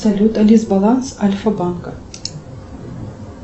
салют алис баланс альфа банка